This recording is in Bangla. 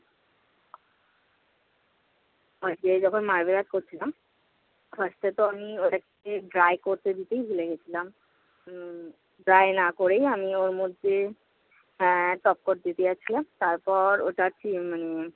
আজকে যখন করছিলাম first এ তো আমি ওর একটি dry করতে দিতেই ভুলে গেছিলাম। উম dry না করেই আমি ওর মধ্যে হ্যাঁ top quote দিতে যাচ্ছিলাম। তারপর ওটা কি মানে